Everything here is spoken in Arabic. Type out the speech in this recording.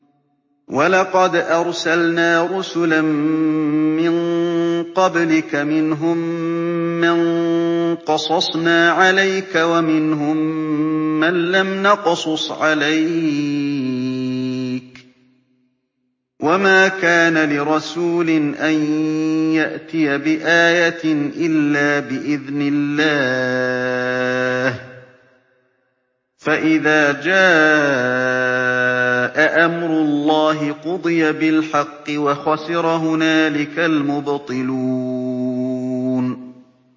وَلَقَدْ أَرْسَلْنَا رُسُلًا مِّن قَبْلِكَ مِنْهُم مَّن قَصَصْنَا عَلَيْكَ وَمِنْهُم مَّن لَّمْ نَقْصُصْ عَلَيْكَ ۗ وَمَا كَانَ لِرَسُولٍ أَن يَأْتِيَ بِآيَةٍ إِلَّا بِإِذْنِ اللَّهِ ۚ فَإِذَا جَاءَ أَمْرُ اللَّهِ قُضِيَ بِالْحَقِّ وَخَسِرَ هُنَالِكَ الْمُبْطِلُونَ